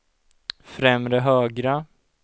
främre högra